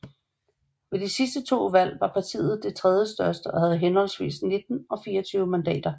Ved de to sidste valg var partiet det tredje største og havde henholdvis 19 og 24 mandater